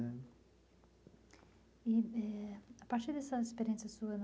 Né. E eh a partir dessa experiência sua,